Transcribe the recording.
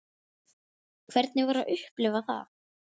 Hvernig var að upplifa það?